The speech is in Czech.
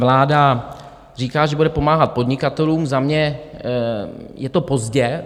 Vláda říká, že bude pomáhat podnikatelům, za mě je to pozdě.